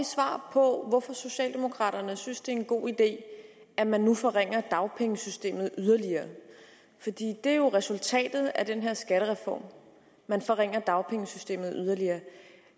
svar på hvorfor socialdemokraterne synes det er en god idé at man nu forringer dagpengesystemet yderligere det er jo resultatet af den her skattereform at man forringer dagpengesystemet yderligere